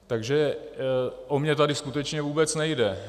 Takže o mě tady skutečně vůbec nejde.